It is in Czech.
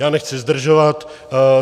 Já nechci zdržovat.